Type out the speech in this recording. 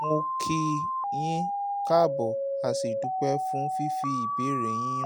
mo kí i yín káàbò a sì dúpẹ́ fún fífi ìbéèrè yín ránṣẹ́